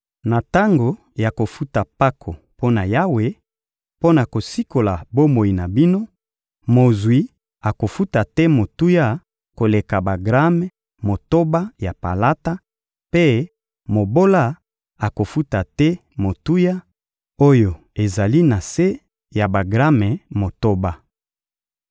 Na tango ya kofuta mpako mpo na Yawe, mpo na kosikola bomoi na bino, mozwi akofuta te motuya koleka bagrame motoba ya palata, mpe mobola akofuta te motuya oyo ezali na se ya bagrame motoba.